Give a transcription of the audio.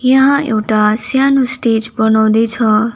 यहाँ एउटा स्यानो स्टेज बनाउँदैछ।